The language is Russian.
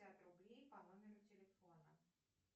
пятьдесят рублей по номеру телефона